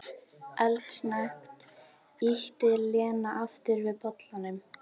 Eldsnöggt ýtti Lena aftur við bollanum.